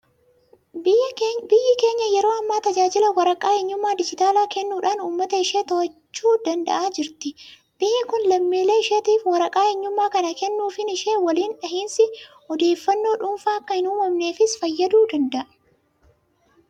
Biyyi keenya yeroo ammaa tajaajila waraqaa eenyummaa dijitaalaa kennuudhaan uummata ishee to'achuu danda'aa jirti. Biyyi kun lammiilee isheetiif waraqaa eenyummaa kana kennuufiin ishee waliin dhahinsi odeeffannoo dhuunfaa akka hin uumamneefis fayyaduu danda'a.